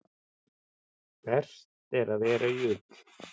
Best er að vera í ull.